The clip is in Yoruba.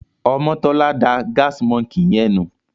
Omotola dá Gas monkey yen nù.